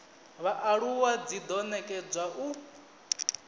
vhaaluwa dzi do nekedzwa u